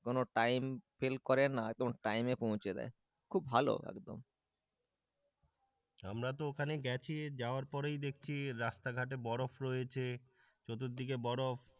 কোনো time fail করে না একদম টাইমে পৌঁছে দেয়। খুব ভালো একদম আমরা তো ওখানে গেছি যাওয়ার পরেই দেখছি রাস্তাঘাটে বরফ রয়েছে, চতুর্দিকে বরফ।